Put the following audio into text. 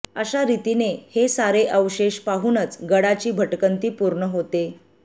अशा रीतीने हे सारे अवशेष पाहूनच गडाची भटकंती पूर्ण होते